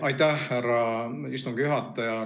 Aitäh, härra istungi juhataja!